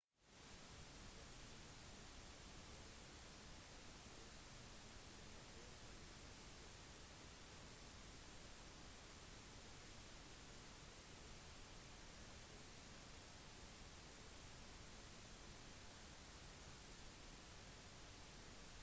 den medisinske veldedige organisasjonen mangola leger uten grenser og verdens helseorganisasjon forteller at dette er det verste utbruddet som er registrert i landet